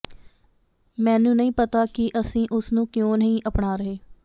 ਮੈਨੂੰ ਨਹੀਂ ਪਤਾ ਕਿ ਅਸੀਂ ਉਸ ਨੂੰ ਕਿਉਂ ਨਹੀਂ ਅਪਣਾ ਰਹੇ